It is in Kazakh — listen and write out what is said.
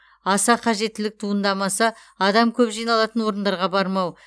аса қажеттілік туындамаса адам көп жиналатын орындарға бармау